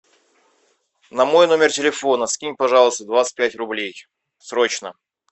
на мой номер телефона скинь пожалуйста двадцать пять рублей срочно